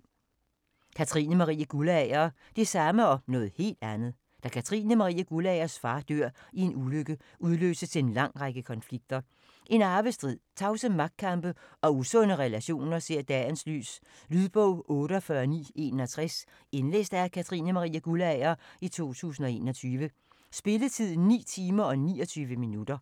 Guldager, Katrine Marie: Det samme og noget helt andet Da Katrine Marie Guldagers far dør i en ulykke, udløses en lang række konflikter. En arvestrid, tavse magtkampe og usunde relationer ser dagens lys. Lydbog 48961 Indlæst af Katrine Marie Guldager, 2021. Spilletid: 9 timer, 29 minutter.